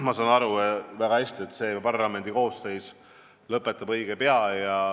Ma saan väga hästi aru, et see parlamendikoosseis lõpetab õige pea.